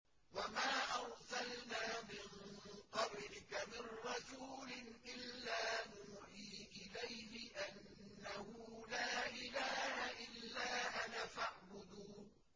وَمَا أَرْسَلْنَا مِن قَبْلِكَ مِن رَّسُولٍ إِلَّا نُوحِي إِلَيْهِ أَنَّهُ لَا إِلَٰهَ إِلَّا أَنَا فَاعْبُدُونِ